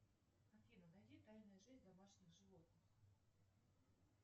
афина найди тайная жизнь домашних животных